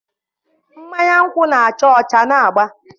mmanya nkwụ na-acha ọcha na agba